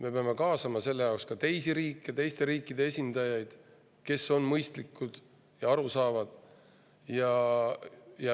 Me peame kaasama ka teisi riike, teiste riikide esindajaid, kes on mõistlikud ja saavad aru.